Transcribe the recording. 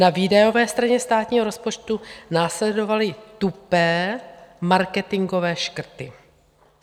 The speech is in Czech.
Na výdajové straně státního rozpočtu následovaly tupé marketingové škrty.